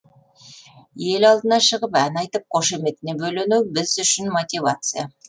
ел алдына шығып ән айтып қошеметіне бөлену біз үшін мотивация